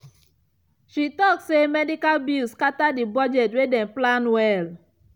she talk say medical bills scatter the budget wey dem plan well.